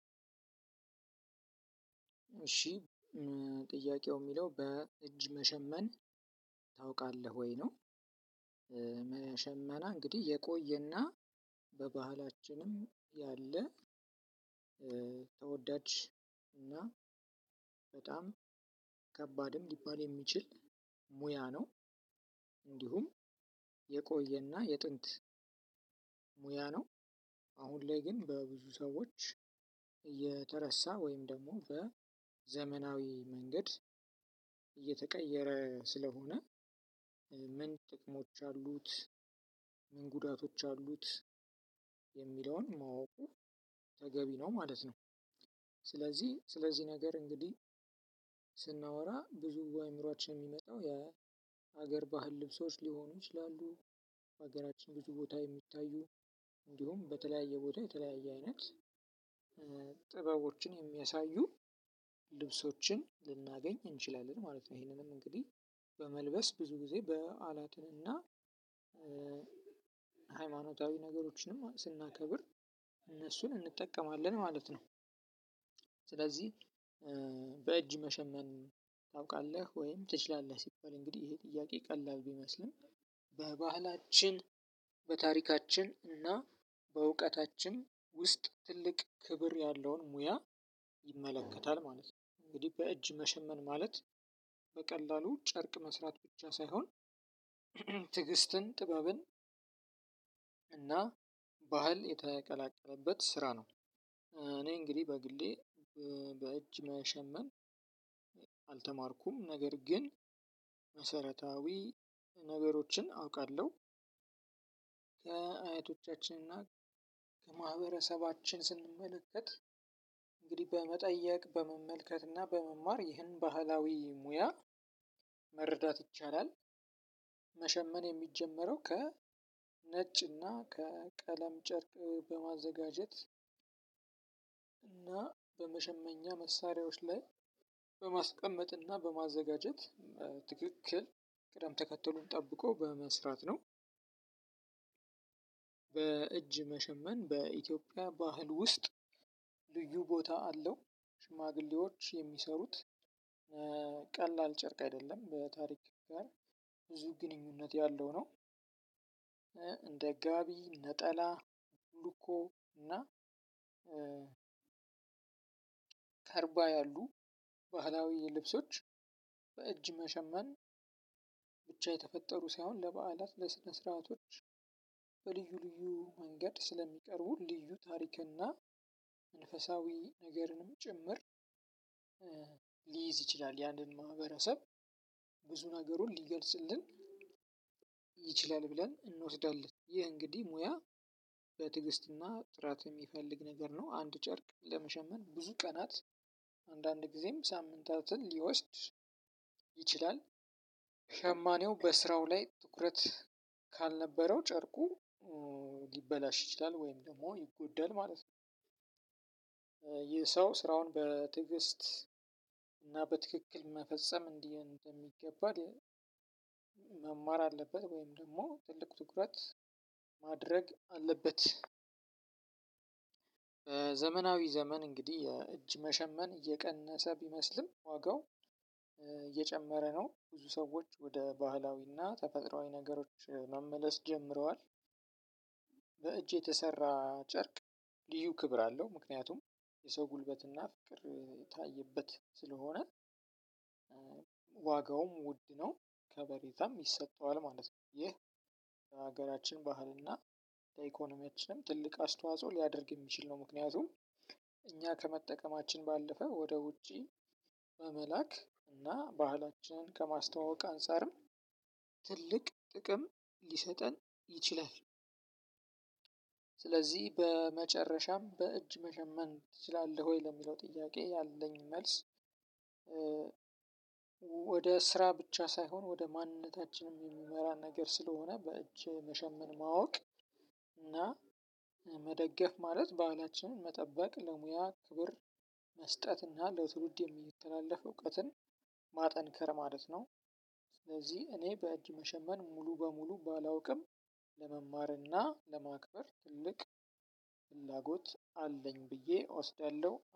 እሽ ጥያቄው የሚለው በእጅ መሸመን ታውቃለህ ወይ ነው? መ ሸምና እንግዲህ የቆየና በባህላችንም ያለ ተወዳጅ እና በጣም ከባድም ሊባል የሚችል ሙያ ነው። እንዲሁም የቆየና የጥንት ሙያ ነው። አሁን ላይ ግን በብዙ ሰዎች የተረሳ ወይም ደግሞ በዘመናዊ መንገድ እየተቀየረ ስለሆነ ምን ጥቅሞች አሉት ምን ጉዳቶች አሉት የሚለውን ማወቁ ተገቢ ነው ማለት ነው። ስለዚህ ስለዚህ ነገር እንግዲህ ስናወራ ብዙ በአእምሮአችን የሚመጣው የሀገር ባህል ልብሶች ሊሆኑ ይችላሉ። ሀገራችን ብዙ ቦታ የሚታዩ እንዲሁም በተለያየ ቦታ የተለያየ አይነት ጥበቦችን የሚያሳዩ ልብሶችን ልናገኝ እንችላለን ማለት ነው። ይሄንንም እንግዲህ በመልበስ ብዙ ጊዜ በዓላትን እና ሃይማኖታዊ ነገሮችንም ስናከብር እነሱን እንጠቀማለን ማለት ነው። ስለዚህ በእጅ መሸመን ታውቃለህ ወይም ትችላለህ ሲባል እንግዲህ ይሄ ጥያቄ ቀላል ቢመስልም በባህላችን በታሪካችን እና በእውቀታችን ውስጥ ትልቅ ክብር ያለውን ሙያ ይመለከታል ማለት ነው። እንግዲህ በእጅ መሸመን ማለት በቀላሉ ጨርቅ መስራት ብቻ ሳይሆን ትዕግስትን ጥበብን እና ባህል የተቀላቀለበት ስራ ነው። እኔ እንግዲህ በግሌ በእጅ መሸመን አልተማርኩም ነገር ግን መሰረታዊ ነገሮችን አውቃለሁ። ከአያቶቻችን እና ከማህበረሰባችን ስንመለከት እንግዲህ በመጠየቅ በመመልከት እና በመማር ይህን ባህላዊ ሙያ መረዳት ይቻላል። መሸመን የሚጀመረው ከ ነጭ እና ከቀለም ጨርቅ በማዘጋጀት እና በመሸመኛ መሳሪያዎች ላይ በማስቀመጥ እና በማዘጋጀት ትክክል ቅደም ተከተሉን ጠብቆ በመስራት ነው። በእጅ መሸመን በኢትዮጵያ ባህል ውስጥ ልዩ ቦታ አለው። ሽማግሌዎች የሚሰሩት ቀላል ጨርቅ አይደለም በታሪክ ጋር ብዙ ግንኙነት ያለው ነው። እንደ ጋቢ ነጠላ ሉኮ እና ከርባ ያሉ ባህላዊ ልብሶች በእጅ መሸመን ብቻ የተፈጠሩ ሳይሆን ለበዓላት ለስነ ስርዓቶች ልዩ መንገድ ስለሚቀርቡ ልዩ ታሪክና መንፈሳዊ ነገርንም ጭምር ሊይዝ ይችላል ያንን ማህበረሰብ ብዙ ነገሩን ሊገልጽልን ይችላል ብለን እንወስዳለን ይህ እንግዲህ ሙያ በትዕግስት እና ጥራት የሚፈልግ ነገር ነው። አንድ ጨርቅ ለመሸመን ብዙ ቀናት አንዳንድ ግዜም ሳምንታትን ሊወስድ ይችላል። ሸማኔው በስራው ላይ ትኩረት ካልነበረው ጨርቁ ሊበላሽ ይችላል ወይም ደግሞ ይጎደል ማለት። ይህ ሰው ስራውን በትግስት እና በትክክል መፈጸም እንዲ እንደሚገባ መማር አለበት ወይም ደግሞ ትልቅ ትኩረት ማድረግ አለበት። ዘመናዊ ዘመን እንግዲህ የእጅ መሸመን እየቀነሰ ቢመስልም ዋጋው እየጨመረ ነው። ብዙ ሰዎች ወደ ባህላዊና ተፈጥሮአዊ ነገሮች መመለስ ጀምረዋል። በእጅ የተሰራ ጨርቅ ልዩ ክብር አለው ምክንያቱም የሰው ጉልበትና ፍቅር የታየበት ስለሆነ ዋጋውም ውድ ነው። ከበሬታም ይሰጠዋል ማለት ነው። ይህ ለሀገራችን ባህል እና ለኢኮኖሚያችንም ትልቅ አስተዋጽኦ ሊያደርግ የሚችል ነው። ምክንያቱም እኛ ከመጠቀማችን ባለፈ ወደ ውጪ በመላክ እና ባህላችንን ከማስተዋወቅ አንፃርም ትልቅ ጥቅም ሊሰጠን ይችላል። ስለዚህ በመጨረሻም በእጅ መሸመን ትችላለህ ወይ? ለሚለው ጥያቄ ያለኝ መልስ ወደ ስራ ብቻ ሳይሆን ወደ ማንነታችንም የሚመራን ነገር ስለሆነ በእጅ መሸመን ማወቅ እና መደገፍ ማለት ባህላችንን መጠበቅ ለሙያ ክብር መስጠት እና ለትውልድ የሚተላለፍ እውቀትን ማጠንከር ማለት ነው። ስለዚህ እኔ በእጅ መሸመን ሙሉ በሙሉ ባላውቅም ለመማርና ለማክበር ትልቅ ፍላጎት አለኝ ብዬ እወስዳለሁ